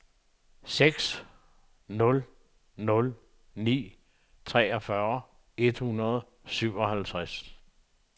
seks nul nul ni treogfyrre et hundrede og syvoghalvtreds